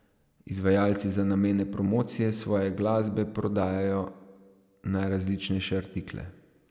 Izvajalci za namene promocije svoje glasbe prodajajo najrazličnejše artikle.